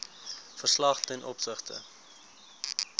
verslag ten opsigte